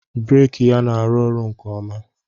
breeki ya na-arụ ọrụ nke ọma